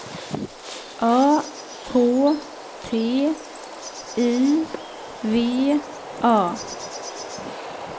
A K T I V A